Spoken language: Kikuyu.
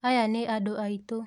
Aya nĩ andũ aitũ.